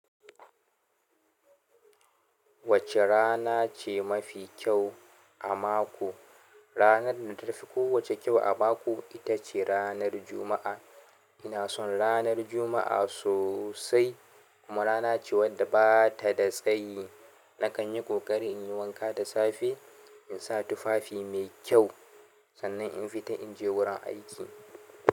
Wacce rana ce mafi kyau a mako? Ranar da ta fi kowacce kyau a mako ita ce ranar Juma'a. Ina son ranar Juma'a sosai. Kuma rana ce wadda ba ta da tsayi. Nakan yi ƙoƙari in yi wanka da safe, in sa tufafi mai kyau, sannan in fita in je wurin aiki.